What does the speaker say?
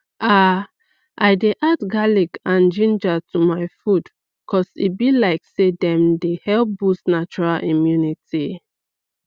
umm i dey add garlic and ginger to my food cause e be like say dem dey help boost natural immunity